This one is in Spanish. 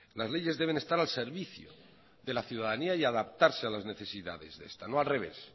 las leyes deben estar al servicio de la ciudadanía y adaptarse a las necesidades de esta no al revés